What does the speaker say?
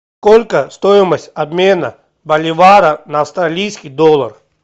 сколько стоимость обмена боливара на австралийский доллар